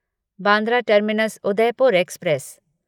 Bandra terminus Udaipur express